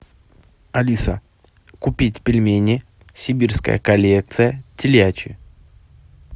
алиса купить пельмени сибирская коллекция телячьи